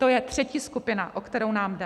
To je třetí skupina, o kterou nám jde.